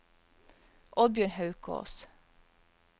Oddbjørn Haukås